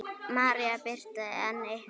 María Birta en ykkar?